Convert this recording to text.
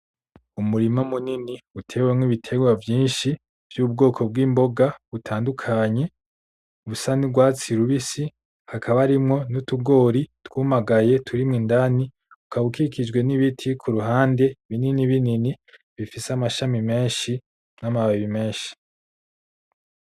Umurima munini utewemo ibitegwa vyinshi vy'ubwoko bw'imboga butandukanye busa nugwatsi rubisi. Hakaba harimo nutugori twumagaye turimo indani ukaba ukikijwe n'ibiti kuruhande binini binini bifise amashami mesnhi n'amababi menshi.